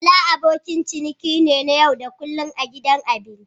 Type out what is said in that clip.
Bala abokin ciniki ne na yau da kullun a gidan abinci.